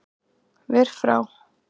Ver frá